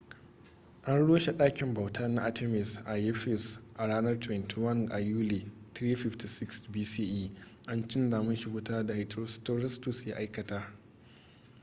an rushe ɗakin bauta na artemis a ephesus a ranar 21 a yuli 356 bce a cinna mashi wuta da herostratus ya aikata